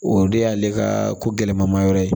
O de y'ale ka ko gɛlɛmayɔrɔ ye